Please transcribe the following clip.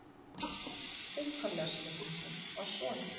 Upphaflega spurningin var svona: